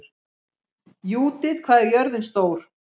Júdit, hvað er jörðin stór?